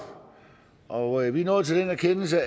og vi er nået til en erkendelse